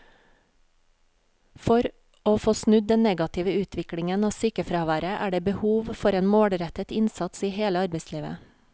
For å få snudd den negative utviklingen av sykefraværet er det behov for en målrettet innsats i hele arbeidslivet.